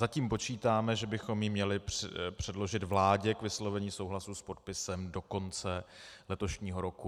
Zatím počítáme, že bychom ji měli předložit vládě k vyslovení souhlasu s podpisem do konce letošního roku.